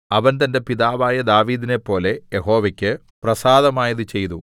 അവൻ തന്റെ പിതാവായ ദാവീദിനെപ്പോലെ യഹോവയ്ക്ക് പ്രസാദമായത് ചെയ്തു